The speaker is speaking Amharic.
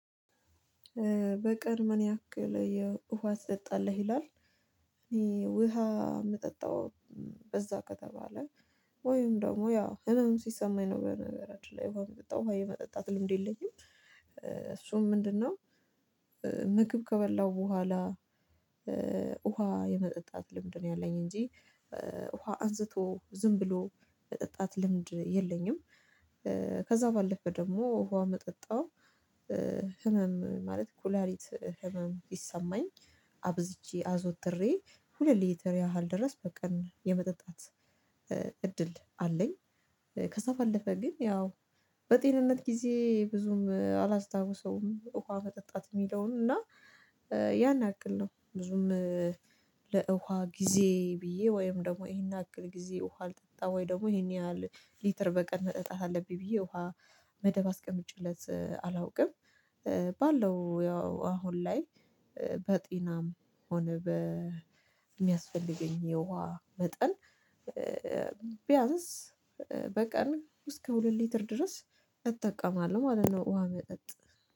በቀን ምን ያክል ውሃ ትጠጣለህ? ይላል እኔ ውሃ የምጠጣው በዛ ከተባለ ወይም ደግሞ ያ ህመም ሲሰማኝ ነው በነገራችን ላይ ውሃ የምጠጣው የመጠጣት ልምድ የለኝም እሱም ምንድነው ምግብ ከበላሁ በኋላ ውሃ የመጠጣት ልምድ ነው ያለኝ እንጂ ውሃ አንስቶ ዝም ብሎ የመጠጣት ልምድ የለኝም፤ ከዛ ባለፈ ደግሞ ውሃ የምጠጣው ህመም ማለት ኩላሊት ህመም ቢሰማኝ አብዝቼ አዞትሬ ሁለት ሊትር ያህል ድረስ በቀን የመጠጣት እድል አለኝ፤ ከዚያ ባለፈ ግን ያው በጤንነት ጊዜ ብዙም አላስታውሰውም ውሃ መጠጣት የሚለውን እና ያን ያክል ነው ብዙም ለውሃ ጊዜ ብዬ ወይም ደግሞ ይሄን ያክል ጊዜ ውሃ አልጠጣሁ ወይ ደግሞ ይሄን ያህል ሊትር በቀን መጠጣት አለብኝ ብዬ ውሃ መደብ አስቀምጬለት አላውቅም ባለው ያው አሁን ላይ በጤናም ሆነ በሚያስፈልገኝ የውሃ መጠን ቢያንስ በቀን እስከ ሁለት ሊትር ድረስ እጠቀማለሁ ማለት ነው ውሃ መጠጥ።